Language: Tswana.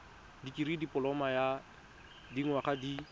dikirii dipoloma ya dinyaga di